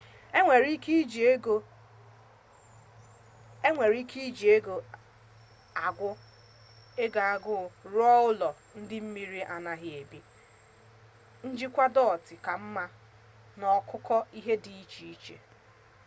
enwere ike iji ego agụ rụọ ụlọ ndị mmiri anaghi ebu njikwa dọtị ka mma na ọkụkụ ihe dị iche iche